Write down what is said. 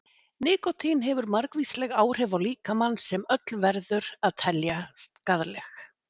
Nikótín hefur margvísleg áhrif á líkamann sem öll verður að telja skaðleg.